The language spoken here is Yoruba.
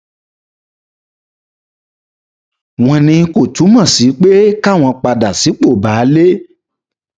wọn ní kò túmọ sí pé káwọn padà sípò baálé